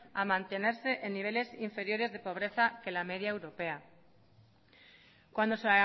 a mantenerse en niveles inferiores de pobreza que la media europea cuando se